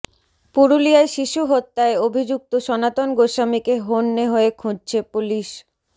পুরুলিয়ায় শিশু হত্যায় অভিযুক্ত সনাতন গোস্বামীকে হন্যে হয়ে খুঁজছে পুলিস